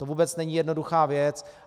To vůbec není jednoduchá věc.